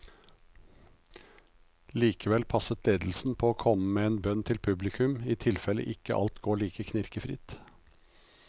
Likevel passet ledelsen på å komme med en bønn til publikum, i tilfelle ikke alt går like knirkefritt.